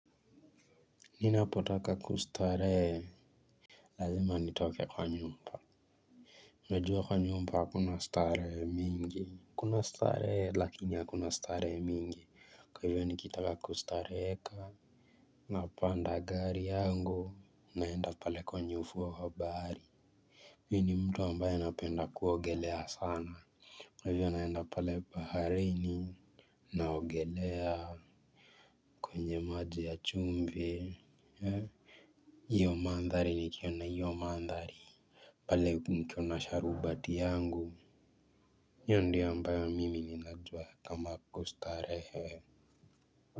Nina potaka kustarehe. Lazima ni toke kwa nyumba unajua kwa nyumba hakuna strarehe mingi kuna starehe lakini hakuna starehe mingi kwa hivyo nikitaka kustareheka. Napanda gari yangu naenda pale kwenye ufuo wa bahari mi ni mtu ambaye napenda kuogelea sana. Kwa hivyo naenda pale baharini. Naogelea kwenye maji ya chumvi iyo mandhari nikiona hiyo mandhari pale nikiwa na sharubati yangu hio ndiyo ambayo mimi ninajua kama kustarehe.